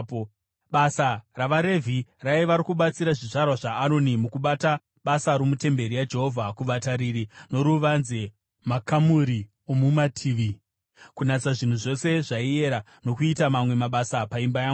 Basa ravaRevhi raiva rokubatsira zvizvarwa zvaAroni, mukubata basa romutemberi yaJehovha: kuvatariri voruvanze, makamuri omumativi, kunatsa zvinhu zvose zvaiera, nokuita mamwe mabasa paimba yaMwari.